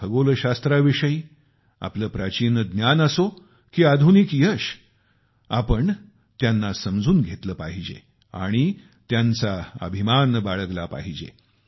खगोलशास्त्राविषयी आपले प्राचीन ज्ञान असो की आधुनिक यश आपण त्यांना समजून घेतले पाहिजे आणि त्यांचा अभिमान बाळगला पाहिजे